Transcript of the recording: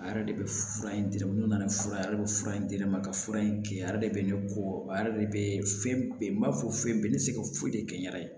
A yɛrɛ de bɛ fura in di ne ma n'o nana fura ye ale bɛ fura in di ne ma ka fura in kɛ a yɛrɛ de bɛ ne kɔ a yɛrɛ de bɛ fɛn bɛɛ n b'a fɔ fɛn bɛɛ bɛ se ka foyi de kɛ n yɛrɛ ye